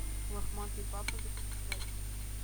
лохматый папа запускай